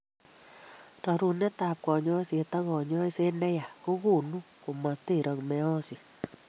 Rorunetab konyoiset ak konyoiset ne ya, kogonu komoterok meeyosiek